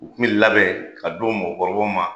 U bɛ kun bɛ labɛn ka d'i la mɔgɔkɔrɔba ma.